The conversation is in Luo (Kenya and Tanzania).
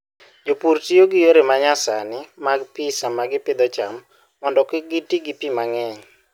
Jopur tiyo gi yore ma nyasani mag pi sama gipidho cham mondo kik giti gi pi mang'eny.